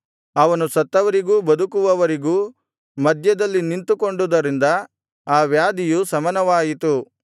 ಅವನು ಸತ್ತವರಿಗೂ ಬದುಕುವವರಿಗೂ ಮಧ್ಯದಲ್ಲಿ ನಿಂತುಕೊಂಡುದರಿಂದ ಆ ವ್ಯಾಧಿಯು ಶಮನವಾಯಿತು